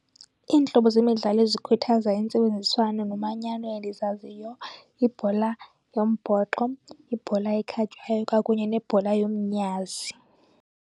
Iintlobo zemidlalo ezikhuthaza intsebenziswano nomanyano endizaziyo yibhola yombhoxo, yibhola ekhatywayo kwakunye nebhola yomnyazi.